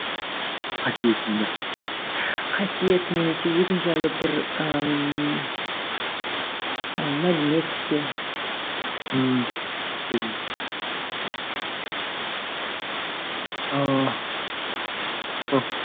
қасиетін қасиет немесе өзің жайлы бір ііі мәлімет пе ммм өзім